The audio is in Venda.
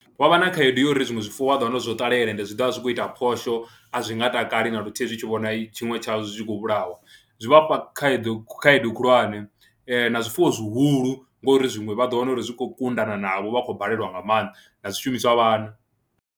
Vha vha na khaedu ya uri zwiṅwe zwifuwo vha ḓo wana uri zwo ṱalela eend zwi ḓo vha zwi khou ita phosho, a zwi nga takali na luthihi zwi tshi vhona tshiṅwe tshazwo zwi khou vhulahwa, zwi vha fha khaedu khaedu khulwane na zwifuwo zwihulu ngori zwiṅwe vha ḓo wana uri zwi khou kuḓana navho vha khou balelwa nga maanḓa na zwishumiswa a vha na.